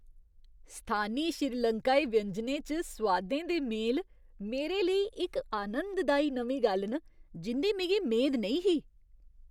स्थानी श्रीलंकाई व्यंजनें च सोआदें दे मेल मेरे लेई इक आनंददाई नमीं गल्ल न जिं'दी मिगी मेद नेईं ही।